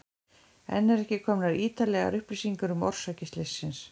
Enn eru ekki komnar ítarlegar upplýsingar um orsakir slyssins.